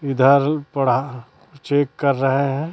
इधर बड़ा चेक कर रहे हैं।